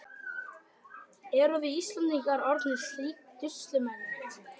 Erum við Íslendingar orðnir slík dusilmenni?